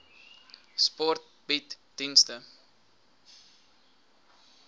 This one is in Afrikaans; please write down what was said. sport bied dienste